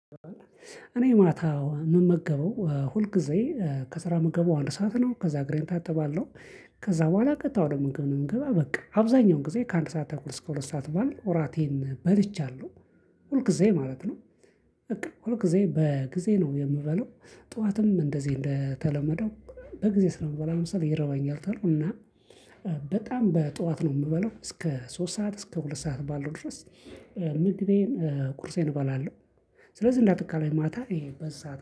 እኔ ማታ የምመገበው ሁል ጊዜ ከስራ የምገባው አንድ ሰዓት ነው ከዛ እግሬን ታጥባለሁ። ከዛ በኋላ ቀጥታ ወደ ምግብ ነው የምገባ በቃ አብዛኛውን ጊዜ ከአንድ ሰዓት አኩል እስከ ሁለት ሰዓት ባለው ኦራቴን በልቻለሁ። ሁል ጊዜ ማለት ነው። በቃ ሁል ጊዜ በጊዜ ነው የምበላው ጠዋትም እንደዚህ እንደተለመደው። በጊዜ ስለምበላ መሰል ይረበኛል ተሎ እና በጣም በጧት ነው የምበላው እስከ ሶስት ሰዓት እስከ ሁለት ሰዓት ባለው ድረስ። ምግቤን ቁርሴን እበላለሁ። ስለዚህ እንዳጠቃላይ ማታ ይሄ በዚ